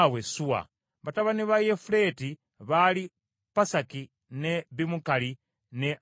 Batabani ba Yafuleti baali Pasaki, ne Bimukali, ne Asuvasi.